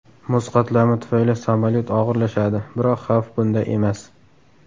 Muz qatlami tufayli samolyot og‘irlashadi, biroq xavf bunda emas.